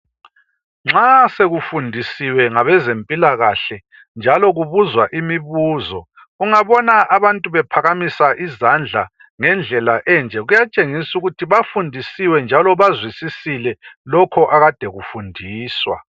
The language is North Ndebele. Nxa sekufundisiwe ngabeze mpilakahle njalo kubuzwa imibuzo ungabona abantu bephakamisa izandla ngendlela enje kuyatshengisa ukuthi bafundisiwe njalo bazwisisile lokho akade kufundiswa.